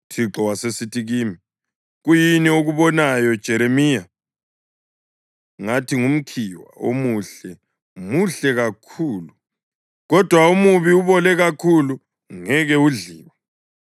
UThixo wasesithi kimi, “Kuyini okubonayo, Jeremiya?” Ngathi, “Ngumkhiwa. Omuhle muhle kakhulu, kodwa omubi ubole kakhulu ungeke udliwe.”